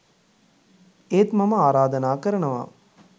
ඒත් මම ආරාධනා කරනවා